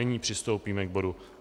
Nyní přistoupíme k bodu